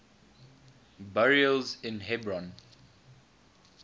burials in hebron